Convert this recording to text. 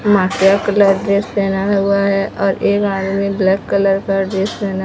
colour dress पहना हुआ है और एक आदमी ब्लैक कलर का ड्रेस पहना--